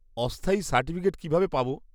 অস্থায়ী সার্টিফিকেট কীভাবে পাব?